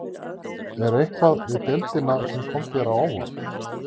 Er eitthvað við deildina sem kom þér á óvart?